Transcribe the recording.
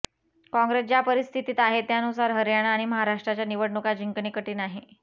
काँग्रेस ज्या परिस्थितीत आहे त्यानुसार हरयाणा आणि महाराष्ट्राच्या निवडणुका जिंकणे कठीण आहे